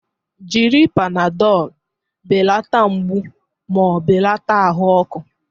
Jiri Panadolu belata mgbu ma belata ahụ ọkụ.